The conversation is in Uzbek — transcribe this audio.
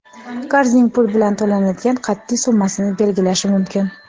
qarzning pul bilan to‘lanadigan qatʼiy summasini belgilashi mumkin.